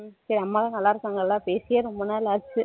அம்மா எல்லாரும் நல்லா இருக்கங்கள பேசியே ரொம்ப நாள் ஆச்சி